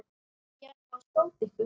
Ég ætla að skjóta ykkur!